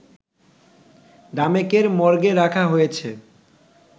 ঢামেকের মর্গে রাখা হয়েছে